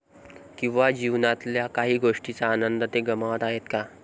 किंवा जीवनातल्या काही गोष्टींचा आनंद ते गमावत आहेत का?